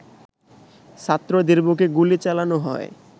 ছাত্রদের বুকে গুলি চালানো হয়